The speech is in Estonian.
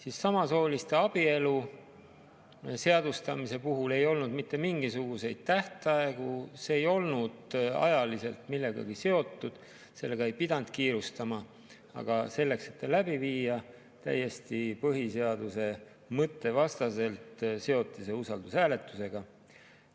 Aga samasooliste abielu seadustamise puhul ei olnud mitte mingisuguseid tähtaegu, see ei olnud ajaliselt millegagi seotud, sellega ei pidanud kiirustama, kuid selleks, et see läbi viia, seoti see – täiesti põhiseaduse mõtte vastaselt – usaldushääletusega.